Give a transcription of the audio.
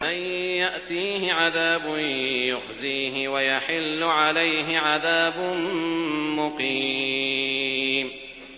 مَن يَأْتِيهِ عَذَابٌ يُخْزِيهِ وَيَحِلُّ عَلَيْهِ عَذَابٌ مُّقِيمٌ